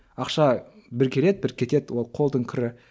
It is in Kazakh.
ақша бір келеді бір кетеді ол қолдың кірі